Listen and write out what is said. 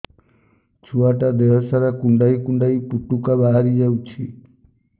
ଛୁଆ ଟା ଦେହ ସାରା କୁଣ୍ଡାଇ କୁଣ୍ଡାଇ ପୁଟୁକା ବାହାରି ଯାଉଛି